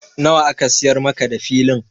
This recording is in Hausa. Nawa aka siyar maka da Filin?